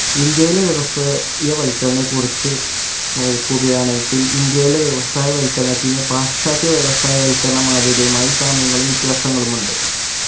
ഇന്ത്യയിലെ വ്യവസാ യവൽകരണക്കുറിച്ച് നോക്കുകയാണെങ്കിൽ ഇന്ത്യയിലെ വ്യവസായവൽക്കരണത്തിന് പാശ്ചാത്യ വ്യവസായവൽകരണ മാത്യകയുമായി സാമ്യങ്ങളും വ്യത്യാസങ്ങളും ഉണ്ട്